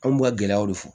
Anw b'u ka gɛlɛyaw de fɔ